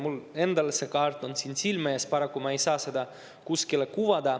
Mul endal on see kaart siin silme ees, paraku ma ei saa seda kuskile kuvada.